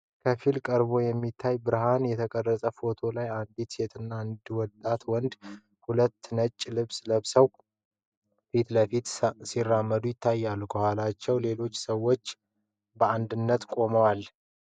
ከፊል-ቀርቦ በሚታይ ብርሃን የተቀረጸ ፎቶ ላይ አንዲት ሴትና አንድ ወጣት ወንድ፣ ሁለቱም ነጭ ልብስ ለብሰው፣ ፊት ለፊት ሲራመዱ ይታያሉ። ከኋላቸው ሌሎች ሰዎች በአንድነት ቆመዋል።